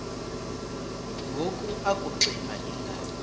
ngoku akuxiva iingalo